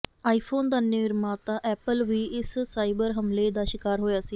iPhone ਦਾ ਨਿਰਮਾਤਾ Apple ਵੀ ਇਸ ਸਾਈਬਰ ਹਮਲੇ ਦਾ ਸ਼ਿਕਾਰ ਹੋਇਆ ਸੀ